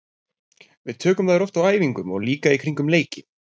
Við tökum þær oft á æfingum og líka í kringum leiki.